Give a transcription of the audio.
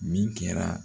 Min kɛra